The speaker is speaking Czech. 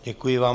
Děkuji vám.